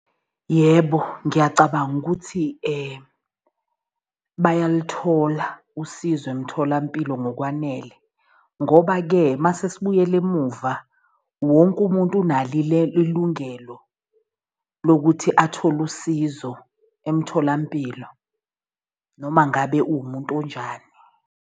Yebo, ngiyacabanga ukuthi bayaluthola usizo emtholampilo ngokwanele ngoba-ke mase sibuyela emuva wonke umuntu unalo ilungelo lokuthi athole usizo emtholampilo, noma ngabe uwumuntu onjani.